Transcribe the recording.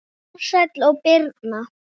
Ársæll og Birna.